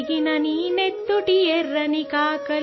خون تیرا کھولا اور آگ اُگلا!